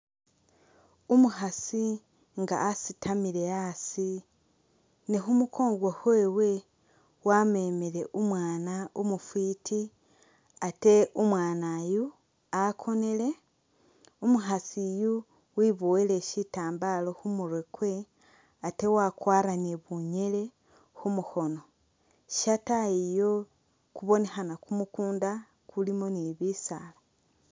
Umukhaasi nga asitamile asi ne khu mukongo khwewe wamemile umwaana umufwiti ate umwaana yu wakonele. Umukhaasi uyu weboyele shitambala khumurwe kwewe ate wakwaara ni bunyele khu mukhono. Shataayi iyo kubonekhana kumukunda kulimo ni bisaala.